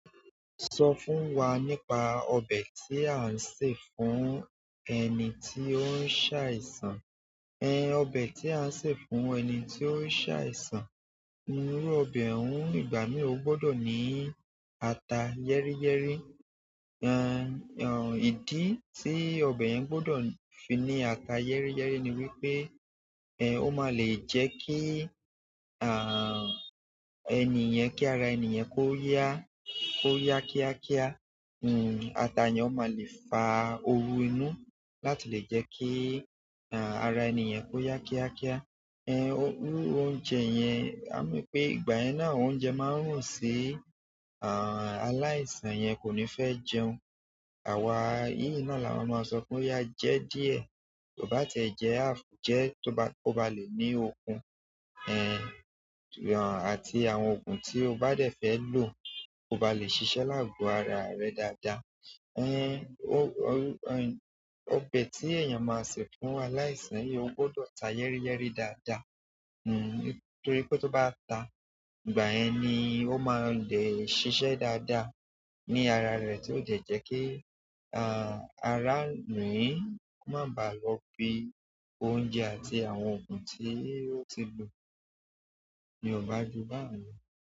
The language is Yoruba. Sọ fún wa nípa ọbẹ̀ tí a ń sè fún ẹni tí ó ń ṣàìsàn. Ẹn, ọbẹ̀ tí a ń sè fún ẹni tí ó ń ṣàìsàn, irú ọbẹ̀ òun ìgbà mìí ó gbọdọ̀ ní ata yẹ́ríyẹ́rí. Ẹn, ẹn, ìdí tí ọbẹ̀ yẹn gbọdọ̀ fi ní ata yẹ́ríyẹ́rí ni wípé, ẹn, ó máa le jẹ́ kí, àh, ẹni yen-- kí ara ẹni yan kó yá, kó yá kíákíá. Hmm, ata yen ó máa le fa owú inú láti lè jẹ́ kí, àh, ara ẹni yan kó yá kíákíá. Ẹn, owú oúnjẹ yẹn, á máa pẹ́ ìgbà yẹn náà oúnjẹ máa ń rùn sí, àh, aláìsàn yẹn kò ní fẹ́ jẹun. Àwa yìí náà là máa máa sọ fún ẹ jẹ díẹ̀, tó bá tẹ jẹ half, je tó bá, kó bá lè ní okun, ẹn, àti àwọn ògùn tí o bá dẹ̀ fẹ́ lò kí o bá lè ṣiṣẹ́ láàbò ara rẹ dáadáa. Ẹn, o-oru-ẹn, ọbẹ̀ tí èèyàn máa sè fún aláìsàn yí ó gbọdọ̀ ta yẹ́ríyẹ́rí dáadáa. Hmm, torí pé tó bá ta, ìgbà yẹn ni ó máa lè ṣiṣẹ́ dáadáa ní ara rẹ̀ tí ó dẹ̀ jẹ́ kí, àh, ara rin kó má ba lọ fi oúnjẹ àti àwọn ògùn tí ó ti lò ní ọba jù báún lo.